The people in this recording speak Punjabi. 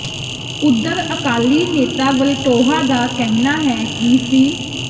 ਉਧਰ ਅਕਾਲੀ ਨੇਤਾ ਵਲਟੋਹਾ ਦਾ ਕਹਿਣਾ ਹੈ ਕਿ ਸਿੱ